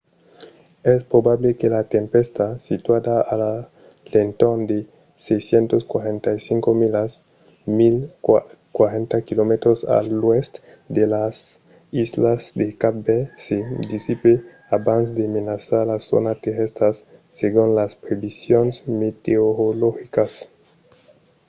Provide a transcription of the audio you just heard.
es probable que la tempèsta situada a l'entorn de 645 milas 1040 km a l'oèst de las islas de cap verd se dissipe abans de menaçar de zònas terrèstras segon las previsions meteorologicas